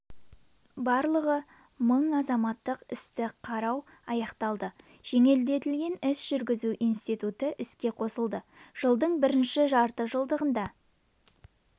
барлығы мың азаматтық істі қарау аяқталды жеңілдетілген іс жүргізу институты іске қосылды жылдың бірінші жартыжылдығында